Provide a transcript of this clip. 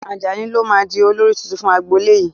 Ajani lo máa di olórí tuntun fún agbolé yìí